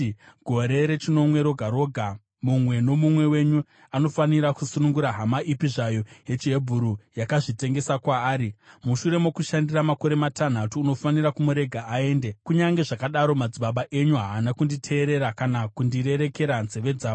‘Gore rechinomwe roga roga, mumwe nomumwe wenyu anofanira kusunungura hama ipi zvayo yechiHebheru yakazvitengesa kwaari. Mushure mokukushandira makore matanhatu, unofanira kumurega aende.’ Kunyange zvakadaro, madzibaba enyu haana kunditeerera kana kundirerekera nzeve dzavo.